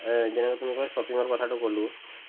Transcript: এই যে তোমাক মই shopping কথাতো ক'লো